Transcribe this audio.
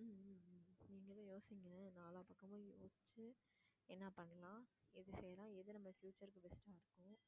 உம் உம் உம் உம் நீங்களும் யோசிங்க நாலாப்பக்கமும் யோசிச்சு என்ன பண்ணலாம் எது செய்யலாம் எது நம்ம future க்கு best ஆ இருக்கும்